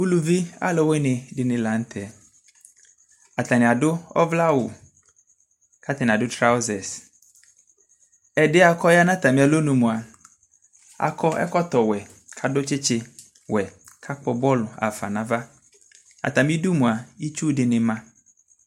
ʋlʋvi alʋwini dini lantɛ, atani adʋ ɔvlɛ awʋ kʋ atani adʋ trousers, ɛdiɛ kʋ ɔya nʋ atami alɔnʋ mʋa akɔɛkɔtɔ wɛ kʋadʋ kyikyi wɛ kʋ agbɔ bɔlʋ haƒa nʋ aɣa, atami idʋmʋa itsʋ dinima